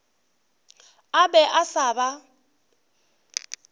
a be a sa ba